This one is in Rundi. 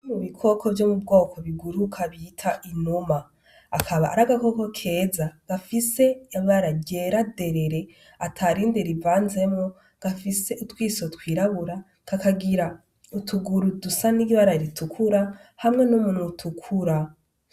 Mubikoko vyo mubwoko biguruka bita inuma. Akaba ari agakoko keza gafise ibara ryera nderere, atarindi rivanzemwo gafise utwiso twirabura kakagira utuguru dusa n’ibara ritukura, hamwe n’umunwa utukura